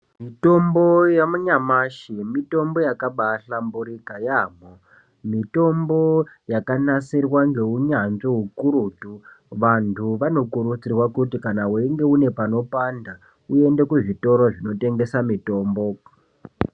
Mitombo yanyamashi mitombo yakabaahlamburika yaamho. Mitombo yakanasirwa ngeunyanzvi ukurutu. Vantu vanokurudzirwa kuti kana uine panopanda uende kuzvitoro zvinotengesa mitombo.